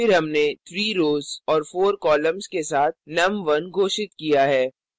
फिर हमने 3 rows और 4 columns के साथ num1 घोषित किया है